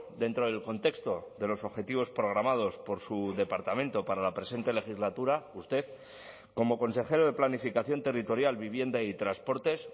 dentro del contexto de los objetivos programados por su departamento para la presente legislatura usted como consejero de planificación territorial vivienda y transportes